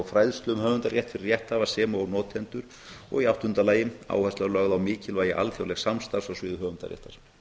fræðslu um höfundarétt fyrir rétthafa sem og notendur og í áttunda lagi áhersla er lögð á mikilvægi alþjóðlegs samstarfs á sviði höfundaréttar